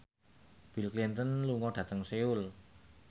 Bill Clinton lunga dhateng Seoul